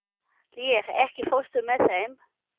Lér, ekki fórstu með þeim?